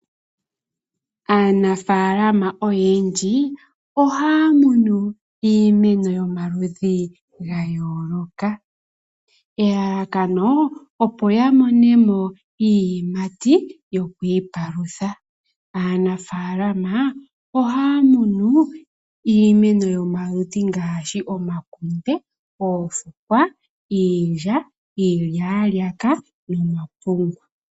Aanafaalama oyendji ohaya munu iimeno yo maludhi ga yooloka. Elalakano opo ya mone mo iiyimati yo kwiipalutha. Aanafaalama ohaya munu iimeno yo maludhi ngaashi omakunde, oofukwa, iilya, iilyaalyaka no mapungu.